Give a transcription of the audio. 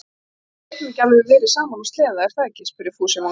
En við getum alveg verið saman á sleða, er það ekki? spurði Fúsi vonglaður.